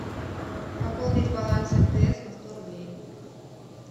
пополнить баланс мтс на сто рублей